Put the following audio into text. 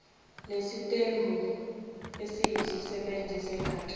isitembu yisisebenzi segatsha